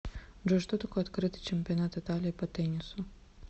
джой что такое открытый чемпионат италии по теннису